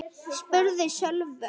spurði Sölvi lágt.